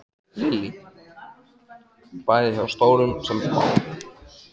Lillý: Bæði hjá stórum sem smáum?